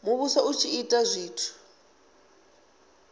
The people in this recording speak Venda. muvhuso u tshi ita zwithu